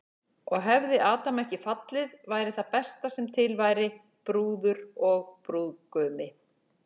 Og hefði Adam ekki fallið væri það besta sem til væri, brúður og brúðgumi.